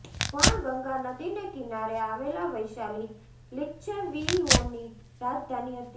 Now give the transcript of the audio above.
પણ ગંગા નદીને કિનારે આવેલા વૈશાલી લીચ્છવીઓની રાજધાની હતી